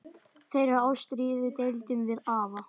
Þeirri ástríðu deildum við afi.